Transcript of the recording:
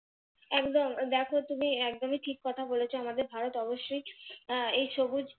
একদম দেখো তুমি একদম ঠিক কথা বলেছো আমাদের ভারত অবশ্যই আহ এই সবুজ